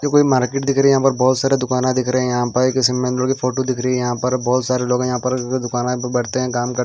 देखो ये मार्केट दिख रही है बहोत सारे दुकाना देख रहे है यहां पर किसी मेन रोड की फोटो दिख रही है यहां पर बहोत सारे लोग है यहां पर दुकाना पे बैठते है काम करते--